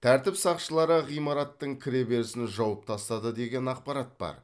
тәртіп сақшылары ғимараттың кіреберісін жауып тастады деген ақпарат бар